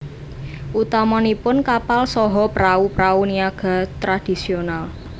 Utamanipun kapal saha prau prau niaga tradisional